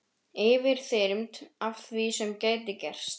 Yfirþyrmd af því sem gæti gerst.